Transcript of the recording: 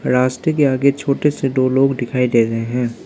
रास्ते के आगे छोटे से दो लोग दिखाई दे रहे हैं।